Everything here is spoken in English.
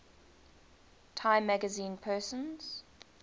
time magazine persons